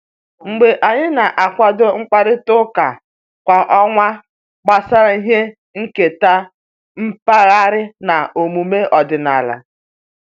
Ogbe anyị na-akwado mkparịta ụka kwa ọnwa gbasara ihe nketa mpaghara na omume ọdịnala